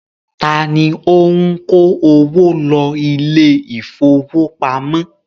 Ta ni ó ń kó owó lọ ilé ìfowópamọ́?